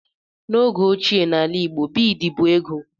N'oge óchiè n'ala igbo, bịịd bụ ego.